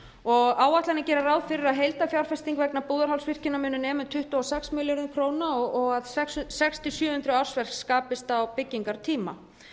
og áætlanir gera ráð fyrir að heildarfjárfesting vegna búðarhálsvirkjunar muni nema um tuttugu og sex milljörðum króna og að sex hundruð til sjö hundruð ársverk skapist á byggingartíma